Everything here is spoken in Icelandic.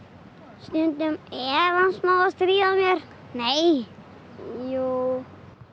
stundum er hann smá að stríða mér nei jú